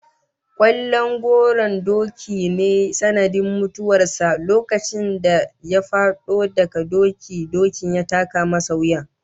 Kwallon goran dawaki ne sanadin mutuwar sa lokacin da ya fado a doki, dokin ya taka masa wuya